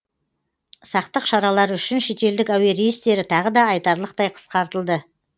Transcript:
сақтық шаралары үшін шетелдік әуе рейстері тағы да айтарлықтай қысқартылды